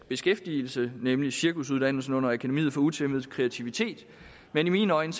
beskæftigelse nemlig cirkusuddannelsen under akademiet for utæmmet kreativitet men i mine øjne